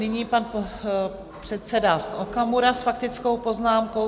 Nyní pan předseda Okamura s faktickou poznámkou.